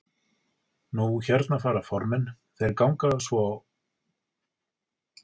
Nú hérna fara formenn, þeir ganga á fund forseta á morgun, hvað gerist svo?